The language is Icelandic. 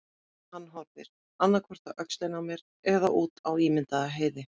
Hann horfir, annað hvort á öxlina á mér eða út á ímyndaða heiði.